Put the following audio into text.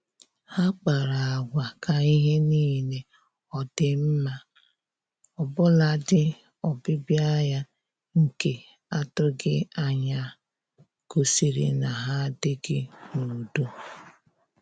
Ha kpara agwa ka ihe niile ọ dị mma, ọbụladị ọbịbịa ya nke atụghị anya gosiri na ha adịghị n'udo